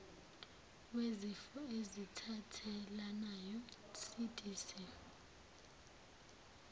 wezifo ezithathelanayo cdc